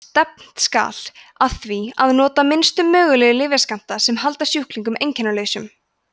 stefnt skal að því að nota minnstu mögulegu lyfjaskammta sem halda sjúklingi einkennalausum